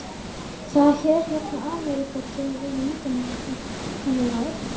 Það er hérna sem Ameríka kemur inn í myndina: Kaninn og Völlurinn.